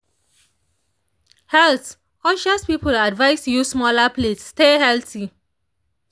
health-conscious people advised use smaller plates stay healthy.